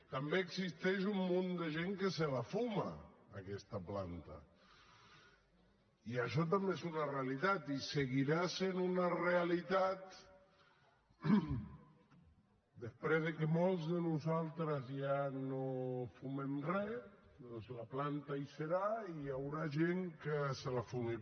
també existeix un munt de gent que se la fuma aquesta planta i això també és una realitat i seguirà sent una realitat després que molts de nosaltres ja no fumem res doncs la planta hi serà i hi haurà gent que se la fumarà